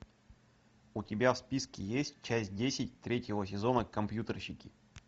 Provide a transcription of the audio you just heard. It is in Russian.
у тебя в списке есть часть десять третьего сезона компьютерщики